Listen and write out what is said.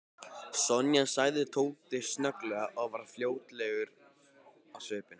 Sonja sagði Tóti snögglega og varð flóttalegur á svip.